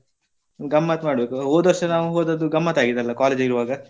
ಗಮ್ಮತ್ ಮಾಡ್ಬೇಕು ಹೋದ ವರ್ಷ ನಾವು ಹೋದದ್ದು ಗಮ್ಮತ್ ಆಗಿದೆ ಅಲ್ಲ college ಇರುವಾಗ.